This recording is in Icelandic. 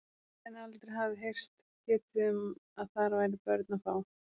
En aldrei hafði heyrst getið um að þar væri börn að fá.